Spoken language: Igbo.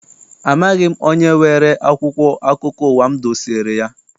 Amaghị m onye weere akwụkwọ akụkọ ụwa m dosere ya.